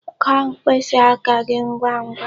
Gụọ mkpịsị aka gi ngwangwa!